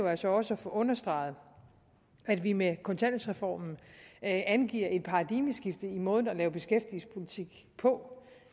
altså også at få understreget at vi med kontanthjælpsreformen angiver et paradigmeskift i måden at lave beskæftigelsespolitik på